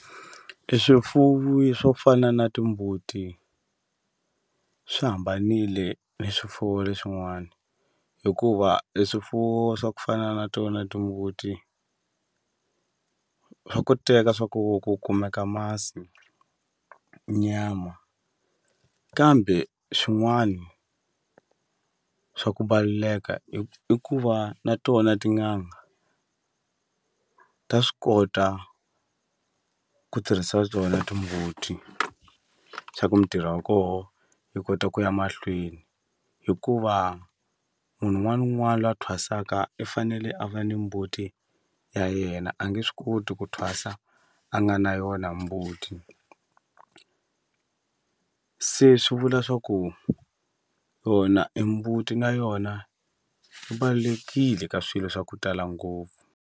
E swifuwi swo fana na timbuti swi hambanile ni swifuwi leswin'wana hikuva e swifuwo swa ku fana na tona timbuti swa koteka swa ku ku kumeka masi nyama kambe swin'wani swa ku i ku va na tona tin'anga ta swi kota ku tirhisa tona timbuti swa ku ntirho wa koho yi kota ku ya mahlweni hikuva munhu un'wana na un'wana lwa thwasaka i fanele a va ni mbuti ya yena a nge swi koti ku thwasa a nga na yona mbuti se swi vula swa ku yona e mbuti na yona yi ka swilo swa ku tala ngopfu.